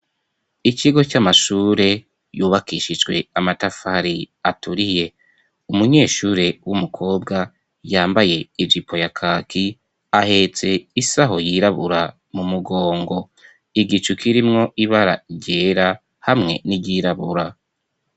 Ikigo c'amashure yubakishijwe amatafari aturiye. Umunyeshure w'umukobwa yambaye ijipo ya kaki ahetse isaho yirabura mu mugongo. Igicu kirimwo ibara ryera hamwe n'iryirabura.